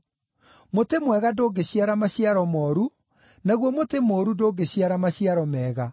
Mũtĩ mwega ndũngĩciara maciaro mooru, naguo mũtĩ mũũru ndũngĩciara maciaro mega.